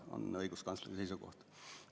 See on õiguskantsleri seisukoht.